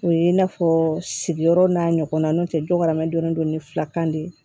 O ye i n'a fɔ sigiyɔrɔ n'a ɲɔgɔna n'o tɛ dɔ wɛrɛ mɛn don ni filakan de ye